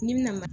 N'i bi na ma